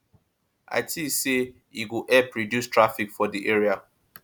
i think say e go help reduce traffic for di area